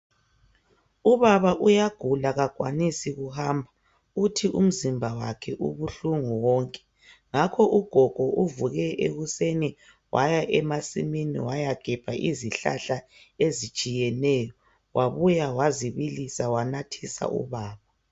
Ubaba uyagupa kakwanisi ukuhamba uthi umzimba wakhe ubuhlungu wonke ngakho ugogo uvuke ekuseni waya emasimini wayegebha izihlahla ezitshiyeneyo wabuya wanathisa ubaba.